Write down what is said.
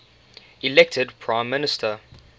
elected prime minister